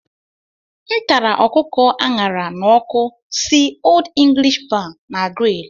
M tara ọkụkọ a ṅara n'ọkụ si Old English Bar na Grill.